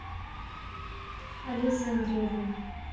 олесе андреевне